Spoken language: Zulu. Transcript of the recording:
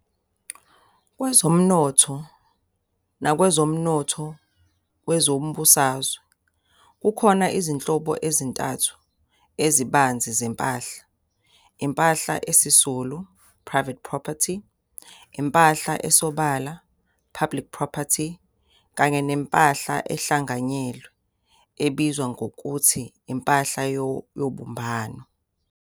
Kwezomnotho nakwezomnotho wezombusazwe, kukhona izinhlobo ezintathu ezibanzi zempahla- impahla esisulu, private property, impahla esobala, public property, kanye nempahla ehlanganyelwe, ebizwa nangokuthi impahla yobumbano.